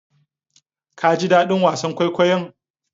Kaji daɗin wasa kwaikwayon?